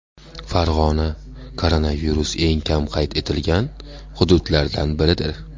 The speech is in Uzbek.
Farg‘ona koronavirus eng kam qayd etilgan hududlardan biridir.